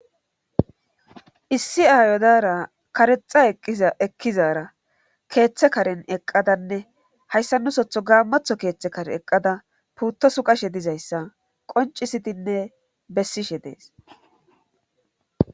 Issi aayo diyara karexa ekkizara keeththe karen eqqadanne hayssa nusoton gaammato keeththa kare eqqada puutta suqqae dizayssa qoncisitinne bessishe dees.